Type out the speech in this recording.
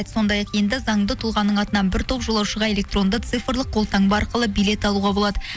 сондай ақ енді заңды тұлғаның атынан бір топ жолаушыға электронды цифрлық қолтаңба арқылы билет алуға болады